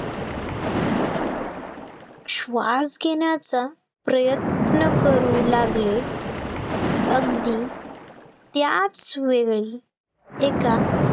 श्वास घेण्याचा प्रयत्न करू लागले, अंगदी त्याच वेळी एका